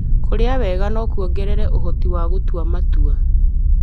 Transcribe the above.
Kũrĩa wega no kuongerere ũhoti wa gũtua matua.